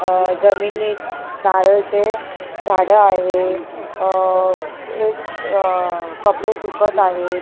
अ जमिनीत नारळचे झाड आहे अ एक अ कपडे सुकत आहेत.